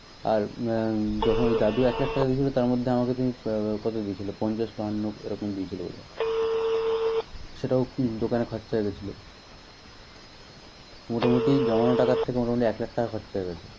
আর এম~ যখন ওই দাদু এক লাখ টাকা দিয়েছিল তার মধ্যে আমাকে তুমি কত দিয়েছিলে পঞ্চাশ বায়ান্ন এরকম দিয়েছিলে বোধ হয়। সেটাও কি দোকানে খরচা হয়ে গিয়েছিল? তো মোটামুটি জমানো টাকা থেকে মোটামুটি এক লাখ টাকা খরচা হয়ে গেছে।